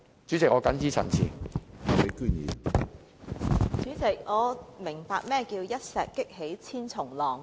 主席，我終於明白何謂一石激起千重浪。